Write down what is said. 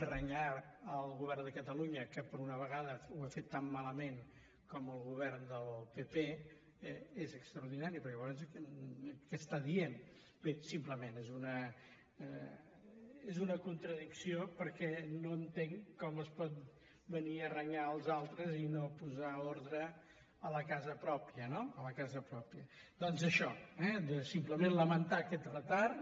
renyar el govern de catalu·nya que per una vegada ho ha fet tan malament com el govern del pp és extraordinari perquè llavors què diu bé simplement és una contradicció perquè no entenc com es pot venir a renyar els altres i no posar ordre a la casa pròpia no doncs això simplement la·mentar aquest retard